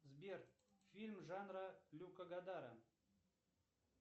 сбер фильм жанра люка гадара